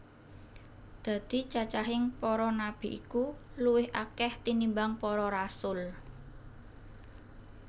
Dadi cacahing para nabi iku luwih akèh tinimbang para rasul